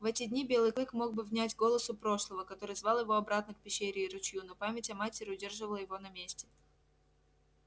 в эти дни белый клык мог бы внять голосу прошлого который звал его обратно к пещере и ручью но память о матери удерживала его на месте